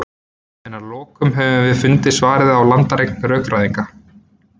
en að lokum höfum við fundið svarið á landareign rökfræðinnar